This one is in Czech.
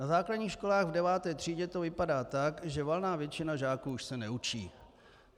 Na základních školách v deváté třídě to vypadá tak, že valná většina žáků už se neučí.